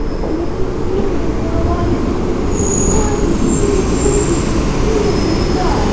да я не истерю тебе говорю на вазе я просто не понимаю этой дебильной логики этого дебильного языка